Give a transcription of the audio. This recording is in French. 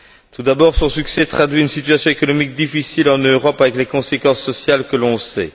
Tout d'abord, son succès traduit une situation économique difficile en Europe, avec les conséquences sociales que l'on sait.